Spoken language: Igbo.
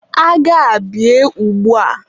agha a bie ugbua!